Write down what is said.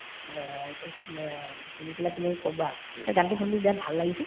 অ, অ শুনি পেলাই তুমি কবা পিছে গানতো শুনিলো বিৰাট ভাল লাগিছে